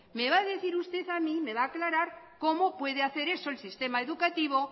me usted a decir a mí me va a aclarar cómo puede hacer eso el sistema educativo